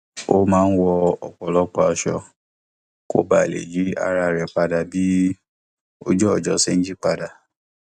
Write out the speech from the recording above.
ó máa ń wọ ọpọlọpọ aṣọ kó ba lè yí ara rẹ padà bí ojú ọjọ ṣe ń yípadà